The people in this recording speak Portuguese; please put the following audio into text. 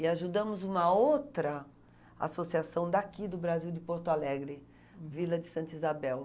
E ajudamos uma outra associação daqui do Brasil, de Porto Alegre, Vila de Santa Isabel.